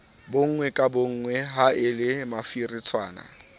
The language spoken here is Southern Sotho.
bonngwe ka bonngwe haele mafiritshwana